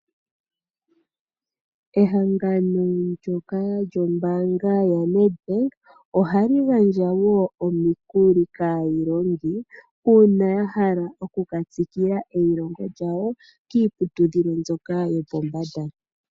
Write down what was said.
Ehangano ndyoka lyombaanga yaNedbank, ohali gandja wo omikuli kaailongi uuna ya hala oku ka tsikila eilongo lyawo kiiputudhilo mbyoka yopombanda.